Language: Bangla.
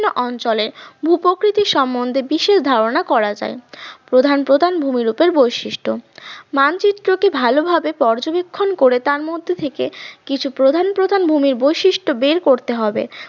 অঞ্চলে ভূপ্রকৃতির সম্বন্ধে বিশেষ ধারণা করা যায়। প্রধান প্রধান ভূমিরূপ এর বৈশিষ্ট্য মানচিত্র টি ভালোভাবে পর্যবেক্ষণ করে তার মধ্যে থেকে কিছু প্রধান প্রধান ভূমির বৈশিষ্ট্য বের করতে হবে।